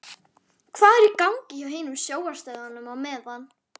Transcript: Hvað er í gangi hjá hinum sjónvarpsstöðvunum á meðan?